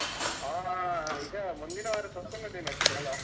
ಅಹ್ ಈಗ ಮುಂದಿನ ವಾರ ಸ್ವತಂತ್ರ ದಿನಾಚರಣೆ ಅಲ್ಲಾ?